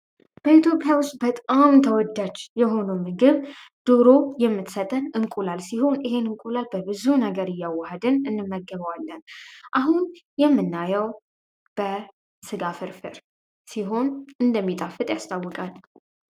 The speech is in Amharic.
በኢትዮጵያ ውስጥ ተወዳጅ የሆኑ ምግብ ዶሮ የምትሰጠን እንቁላል ሲሆን ይሄን እንቁላል በብዙ ነገር እያዋደን እንመገባለን አሁን የምናየው ስጋ ፍርፍር ሲሆን እንደሚጣፍጥ ያስታውቃል